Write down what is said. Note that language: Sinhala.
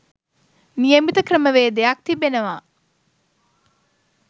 නියමිත ක්‍රමවේදයක්‌ තිබෙනවා.